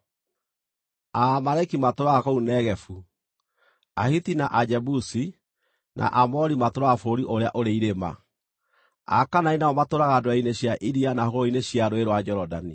Aamaleki matũũraga kũu Negevu; Ahiti, na Ajebusi, na Aamori matũũraga bũrũri ũrĩa ũrĩ irĩma; Akaanani nao matũũraga ndwere-inĩ cia iria na hũgũrũrũ-inĩ cia Rũũĩ rwa Jorodani.”